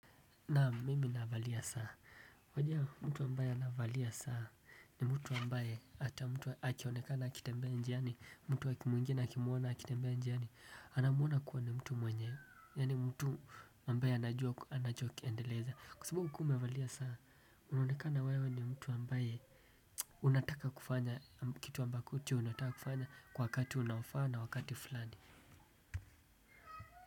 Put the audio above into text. Na mimi navalia saa, wajua mtu ambaye anavalia saa ni mtu ambaye hata mtu akionekana akitembea njiani, mtu mwingine akimwona akitembea njiani, anamwona kuwa ni mtu mwenye, yaani mtu ambaye anajua, anachokiendeleza kwa sababu ukiwa umevalia saa, unaonekana wewe ni mtu ambaye unataka kufanya kitu ambacho unataka kufanya kwa wakati unaofaa na wakati fulani.